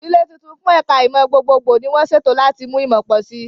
Ilé tuntun fún ẹ̀ka ìmọ̀ gbogbogbò ni wọ́n ṣètò láti mú ìmọ̀ pọ̀ sí i.